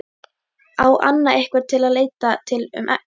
Á Anna einhvern að leita til um egg?